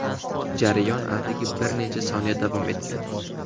Jarayon atigi bir necha soniya davom etgan.